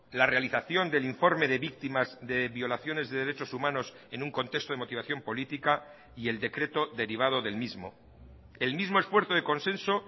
la realización del informe de víctimas de violaciones de derechos humanos en un contexto de motivación política y el decreto derivado del mismo el mismo esfuerzo de consenso